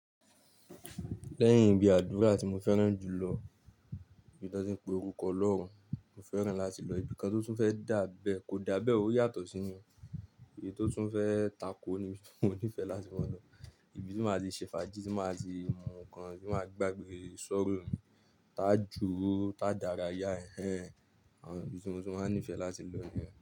Lẹ́yìn ibi àdúra tí mo fẹ́ràn jùlọ, ibi tí wọ́n ti ń pe orúkọ Ọlọ́run, mo fẹ́ràn láti lọ ibi kan tó tún fẹ́ dá abẹ́, kò dá abẹ́, ó yàtọ̀ sí ni, èyí tó tún fẹ́ tako ni mo nífẹ̀ẹ́ láti máa lọ. Ibi tí mo máa ti ṣe fàájì, tí mo máa ti mú ǹkan, tí mo máa gbàgbẹ́ sọ́rọ̀ mi, tá jù ú, tá dára, yá ẹ̀, àwọn ibi tí mo tún máa ń nífẹ̀ẹ́ láti lọ ni yen.